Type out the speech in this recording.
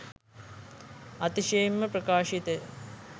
අතිශයින්ම ප්‍රකාශිතය